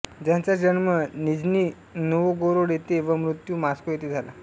त्याचा जन्म Nizhny Novgorod येथे व मृत्यू मॉस्को येथे झाला